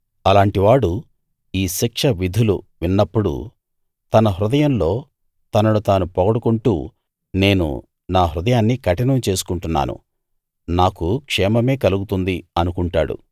అలాంటివాడు ఈ శిక్ష విధులు విన్నప్పుడు తన హృదయంలో తనను తాను పొగడుకుంటూ నేను నా హృదయాన్ని కఠినం చేసుకుంటున్నాను నాకు క్షేమమే కలుగుతుంది అనుకుంటాడు